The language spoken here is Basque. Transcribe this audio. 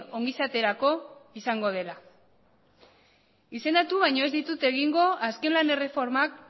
ongizaterako izango dela izendatu baino ez ditut egingo azken lan erreformak